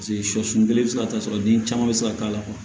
Paseke sɔ sun kelen bɛ se ka ta sɔrɔ den caman bɛ se k'a k'a la